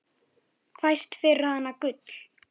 Fæst fyrir hana gull.